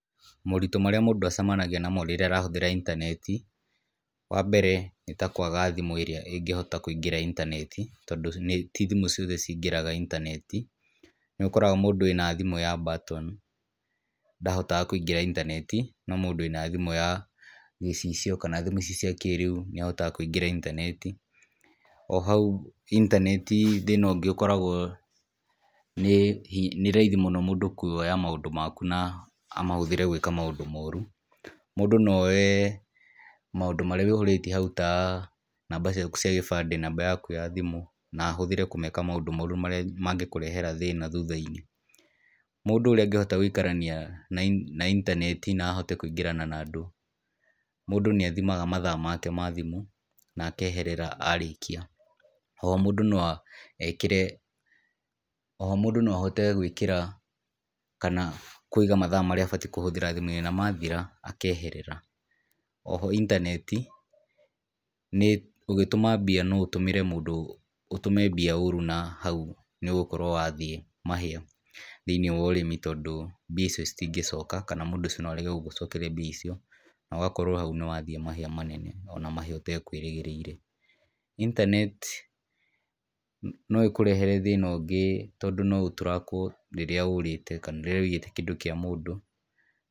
Moritũ marĩa mũndũ acemanagia namo rĩrĩa arahũthera Intaneti, wa mbeere nĩ ta kũaga thimũ ĩrĩa ĩngĩhota kũingĩra Intaneti tondũ nĩ ti thimũ ciothe ciingĩraga Intaneti. Nĩ ũkoraga mũndũ wĩna thimũ ya button ndahotaga kũingĩra Intaneti no mũndũ wĩna thimũ ya gicicio kana thimũ ici cia kĩrĩu nĩahatoga kũingĩra Intaneti. O hau, Intaneti thĩna ũngĩ ũkoragwo nĩ raithi mũno mũndũ kũoya maũndũ maku na amahũthĩre gwĩka maũndũ moru. Mũndũ no oye maũndũ marĩa wĩihũrĩtie hau ta namba ciaku cia gĩbande, namba yaku ya thimũ na ahũthĩre kũmeka maũndũ moru marĩa mangĩkũrehera thĩna thuthainĩ. Mũndũ urĩa angĩhota gũikarania na Intaneti na ahote kũingĩrana na andũ. Mũndũ nĩathimaga mathaa make ma thimũ na akeherera arĩkia. Oho, mũndũ no ekĩre oho mũndũ no ahote gũĩkĩra kana kũiga mathaa marĩa abatairĩ kũhũthĩra thimũ-inĩ namathira akeherera. Oho, Intaneti, nĩ ũgĩtũma mbia no ũtũmĩre mũndũ, ũtũme mbia ũru na hau nĩũgũkorwo wathie mahĩa thĩinĩ wa ũrĩmi tondũ mbia icio citingĩcoka kana mũndũ ũcio no arege gũgũcokeria mbia icio na ũgakorwo hau nĩwathie mahĩa manene o na mahĩa ũtakũĩrĩgĩrĩire. Internet ,no ĩkũrehere thĩna ũngĩ tondu no ũtrakwo rĩrĩa ũrĩte kana rĩrĩa wĩiyĩte kĩndũ kĩa mũndũ.